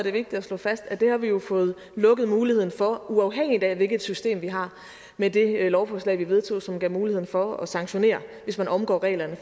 er vigtigt at slå fast at det har vi jo fået lukket muligheden for uafhængigt af hvilket system vi har med det lovforslag vi vedtog som giver mulighed for at sanktionere hvis man omgår reglerne